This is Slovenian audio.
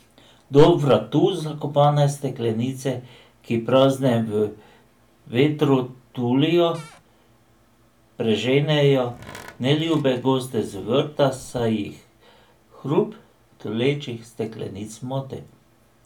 Do vratu zakopane steklenice, ki prazne v vetru tulijo, preženejo neljube goste z vrta, saj jih hrup tulečih steklenic moti.